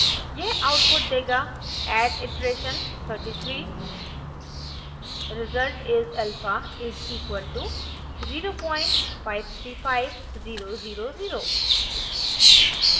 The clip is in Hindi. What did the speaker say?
यह आउटपुट देगा at iteration 33 result is alpha is: equal to 0535000